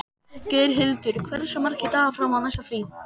Geirhildur, hversu margir dagar fram að næsta fríi?